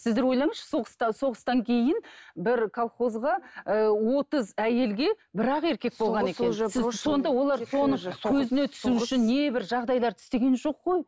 сіздер ойлаңызшы соғыста соғыстан кейін бір колхозға ыыы отыз әйелге бір ақ еркек болған екен не бір жағдайларды істеген жоқ қой